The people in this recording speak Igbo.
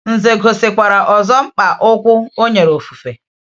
Ǹzè gosikwara ọzọ mkpa ukwu o nyere ofufe.